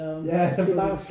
Jah fordi